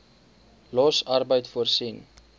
los arbeid voorsiening